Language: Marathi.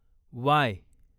वाय